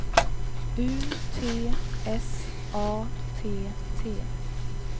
U T S A T T